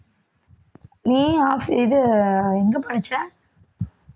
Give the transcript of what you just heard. நீ ஆ~ இது எங்க படிச்ச